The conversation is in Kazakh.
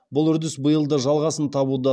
бұл үрдіс биыл да жалғасын табуда